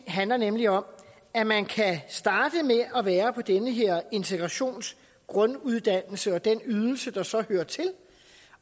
handler nemlig om at man kan starte med at være på den her integrationsgrunduddannelse og den ydelse der så hører til